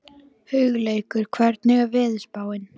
Hugleikur, hvernig er veðurspáin?